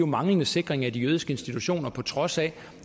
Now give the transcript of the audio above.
manglende sikring af de jødiske institutioner på trods af